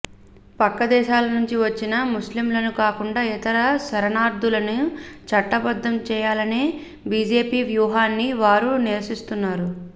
పక్క దేశాల నుంచి వచ్చిన ముస్లింలని కాకుండా ఇతర శరణార్థులని చట్టబద్ధం చేయాలనే బిజెపి వ్యూహాన్ని వారు నిరసిస్తున్నారు